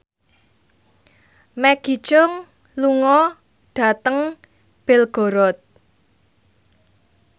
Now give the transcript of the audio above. Maggie Cheung lunga dhateng Belgorod